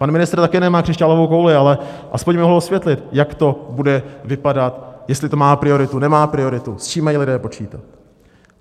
Pan ministr také nemá křišťálovou kouli, ale aspoň by mohl osvětlit, jak to bude vypadat, jestli to má prioritu, nemá prioritu, s čím mají lidé počítat.